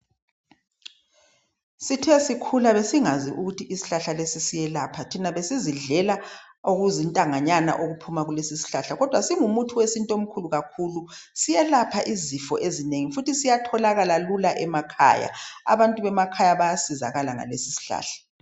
sithesikhula besingakwazi ukuthi ishlahla lesi siyalapha thina sizidlela okuzintanganyana okuphela kuleso ishlahla kodwa singumuthi wesintu omkhulukakhulu siyelapha izifo ezinengi futhisiyatholakala lula emakhaya abantu bayazizakala ngaleso isihlahla